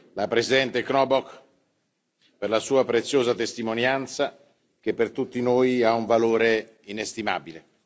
la presidente Charlotte Knobloch per la sua preziosa testimonianza, che per tutti noi ha un valore inestimabile.